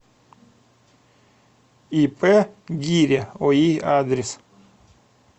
ип гиря ои адрес